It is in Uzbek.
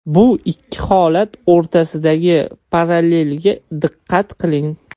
Bu ikki holat o‘rtasidagi parallelga diqqat qiling.